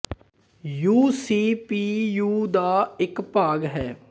you C P U ਦਾ ਇੱਕ ਭਾਗ ਹੈ